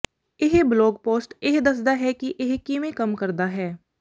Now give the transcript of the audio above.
ਇਹ blog post ਇਹ ਦੱਸਦਾ ਹੈ ਕਿ ਇਹ ਕਿਵੇਂ ਕੰਮ ਕਰਦਾ ਹੈ